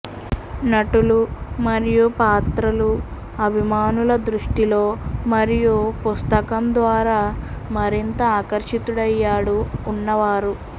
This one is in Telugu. నటులు మరియు పాత్రలు అభిమానుల దృష్టి లో మరియు పుస్తకం ద్వారా మరింత ఆకర్షితుడయ్యాడు ఉన్నవారు